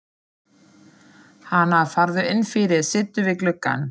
Hana, farðu inn fyrir, sittu við gluggann.